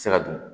Se ka dun